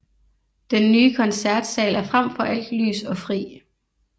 Den nye Koncertsal er frem for alt lys og fri